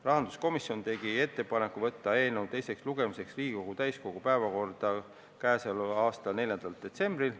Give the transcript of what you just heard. Rahanduskomisjon tegi ettepaneku võtta eelnõu teiseks lugemiseks Riigikogu täiskogu päevakorda k.a 4. detsembril.